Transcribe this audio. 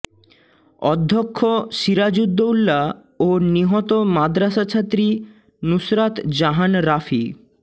অধ্যক্ষ সিরাজ উদ দৌলা ও নিহত মাদ্রাসা ছাত্রী নুসরাত জাহান রাফি